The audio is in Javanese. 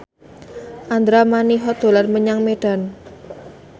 Andra Manihot dolan menyang Medan